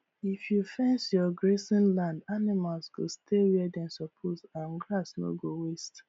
if you fence your grazing land animals go stay where dem suppose and grass no go waste